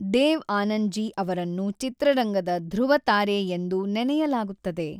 ದೇವ್ ಆನಂದ್ ಜಿ ಅವರನ್ನು ಚಿತ್ರರಂಗದ ಧೃುವತಾರೆ ಎಂದು ನೆನಯಲಾಗುತ್ತದೆ.